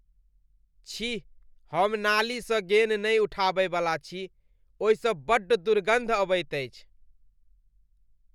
छी, हम नाली सँ गेन् नहि उठाबय वला छी। ओहिसँ बड्ड दुर्गन्ध अबैत अछि।